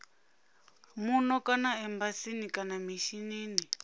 muno kana embasini kana mishinini